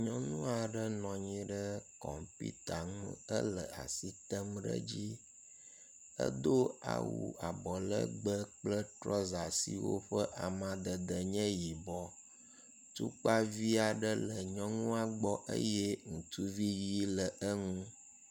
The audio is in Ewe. Nyɔnu aɖe nɔ anyi ɖe kɔmpita ŋu hele as item ɖe edzi. Edo awu abɔlegbe kple trɔsa siwo ƒe amadede nye yibɔ. Tukpa vi aɖe le nyɔnua gbɔ eye ŋutui ʋi le enu.